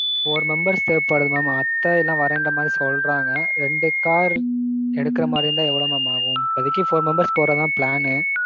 நாலு பேருக்கு தேவே படுது mam. அத்த எல்லாம் வர்ற மாதிரி சொல்றாங்க. ரெண்டு கார். எடுக்குற மாதிரி இருந்தா எவ்வளவு mam ஆகும். இப்பொதைக்கு நாலு பேர் தான் போறத்தான் திட்டம்.